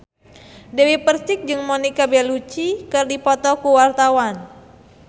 Dewi Persik jeung Monica Belluci keur dipoto ku wartawan